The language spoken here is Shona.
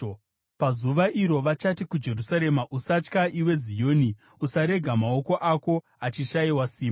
Pazuva iro vachati kuJerusarema, “Usatya, iwe Zioni; usarega maoko ako achishayiwa simba.